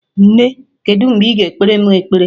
Nne, kedu mgbe ị ga ekpere mụ ekpere?